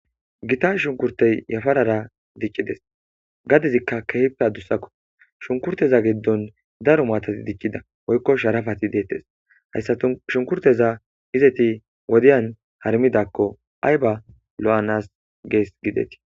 Gita shunkurtey yafarara diccides gadezikka kehppe adusakko shunkurteza geddon daro maatati diccida oykko sharafati deettes hayssatu shunkurteza izeti wodiyan harmidakko ay ba lo7anas gees gidetii.